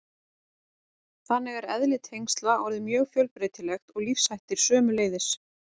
Þannig er eðli tengsla orðið mjög fjölbreytilegt og lífshættir sömuleiðis.